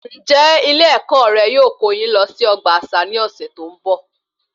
Ǹjẹ Ilé ẹkọ rẹ yóò kó yín lọ sí ọgbà àṣà ní ọsẹ tó n bọ?